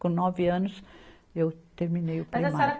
Com nove anos, eu terminei o primário. Mas a senhora